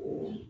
O